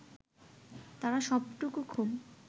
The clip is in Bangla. তারা সবটুকু ক্ষোভ